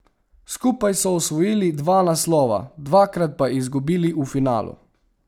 Skupaj so osvojili dva naslova, dvakrat pa izgubili v finalu.